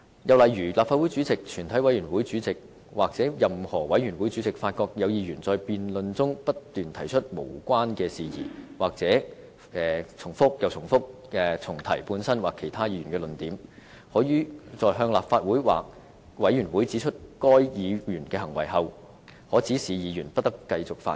又例如立法會主席、全體委員會主席或任何委員會主席發覺有議員在辯論中不斷提出無關的事宜，或不斷重複本身或其他議員的論點，可於向立法會或委員會指出該議員的行為後，指示議員不得繼續發言。